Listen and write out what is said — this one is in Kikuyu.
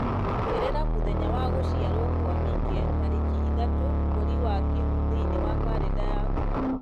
ongerera mũthenya wa gũciarwo kwa mike tarĩki ithatũ mweri wa kĩhu thĩinĩ wa karenda yakwa